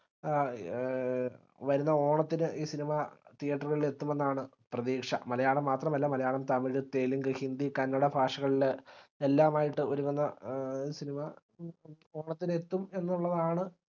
ആഹ് ഏർ വെരുന്ന ഓണത്തിന് ഈ cinema theatre കളിലേക്ക് എത്തുമെന്നാണ് പ്രതീക്ഷ മലയാളം മാത്രമല്ല മലയാളം തമിഴ് തെലുങ്ക് ഹിന്ദി കന്നഡ ഭാഷകളിൽ എല്ലാമായിട്ട് ഒരുങ്ങുന്ന ഏർ cinema ഓണത്തിന് എത്തും എന്നുള്ളതാണ്